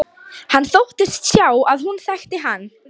Hann þóttist sjá að hún þekkti hann.